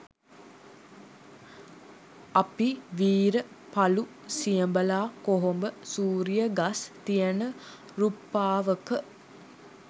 අපි වීර පළු සියඹලා කොහොඹ සූරිය ගස් තියන රුප්පාවක